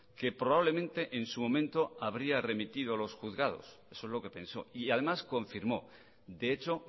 que probablemente en su momento habría remitido a los juzgados eso es lo que pensó y además confirmó de hecho